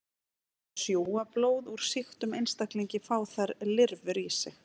Þegar þær sjúga blóð úr sýktum einstaklingi fá þær lirfur í sig.